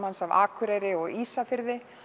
af Akureyri og Ísafirði